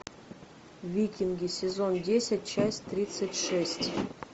викинги сезон десять часть тридцать шесть